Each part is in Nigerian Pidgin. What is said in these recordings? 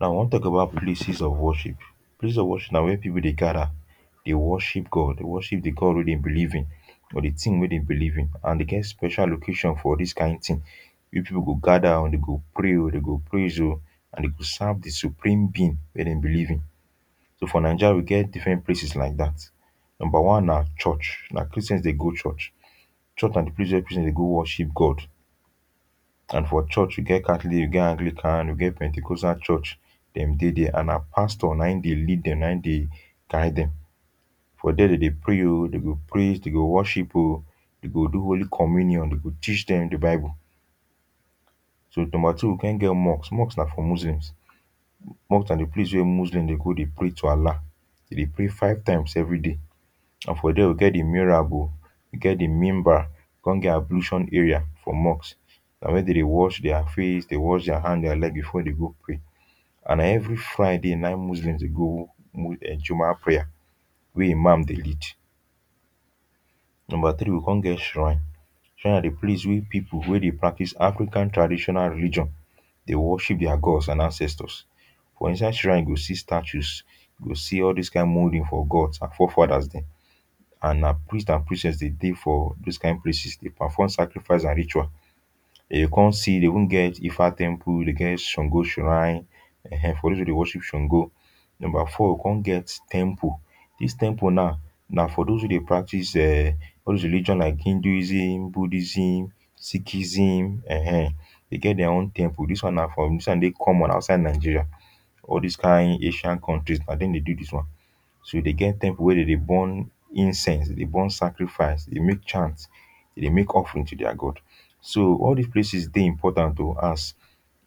now i wan talk about places of worship. places of worship na where people dey, gather dey worship God dey worship the God wey dem believe in or the thing wey dem believe in and dem get special location for all this kain thing. people go gather dem go pray o, dem go praise o, and dem go serve the supreme being wey dem believe in. so for Naija we get different places like that. number one na church, na christians dey go church. church na the place person dey go worship God and for church we get catholic, we get anglican, we get penticozal church dem dey there and na pastor na e dey lead dem, na e dey guide dem. for there dem dey pray o, dem go praise dem go worship o, dem go do holy communion, dem go teach dem the bible .so number two ,we come get mosque. mosque nafor muslims. mosque na the place wey muslim dey go dey pray to Allah dem dey pray five times everyday, and for there we get the mihrab o we get the mimbar, we come get ablution area for mosque. na where dem dey wash their face, dey wash their hand and their leg before dey go pray and na every friday na in muslims dey go um jumu'ah prayer where imam dey lead. number three ,we come get shrine. shrine na the place wey people wey dey practice african traditional religion dey worship their gods and ancestors for inside shrine you go statues. you go see all this kain moulding for gods and fore fathers dem and na priest and priestess dey dey for this kain places dey perform sacrifice and rituals. dey come see dey con get efa temple, songo shrine um for those wey dey worship songo. number four, we come get temple. this temple now na for those wey practice um all those religions like hinduism ,buddhism, sikhism um dem get their own temple. this one na for this one dey common outside nigeria all this kain Asian countries na dem dey get this ones so e dey get temple wey dem, dey burn incense, dey burn sacrifice dey, make chant dem dey make offerings to their gods. so all this places dey important o as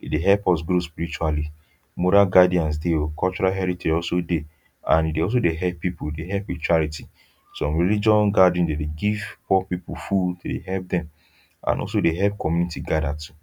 e dey help us grow spiritually. moral guidance dey o cultural heritage also dey and e dey also dey help, people e dey help spirituality some religion gathering dem dey give poor people food dem dey help dem and also dey help community gather too.